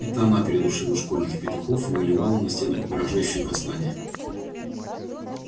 это она передушила школьных петухов и малевала на стенах угрожающие послания